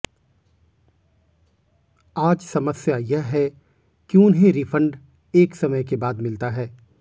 आज समस्या यह है कि उन्हें रिफंड एक समय के बाद मिलता है